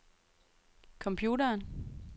computeren